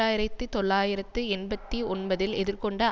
ஆயிரத்தி தொள்ளாயிரத்து எண்பத்தி ஒன்பதில் எதிர்கொண்ட